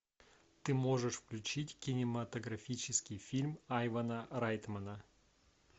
ты можешь включить кинематографический фильм айвана райтмана